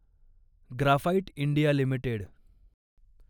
graphite India limited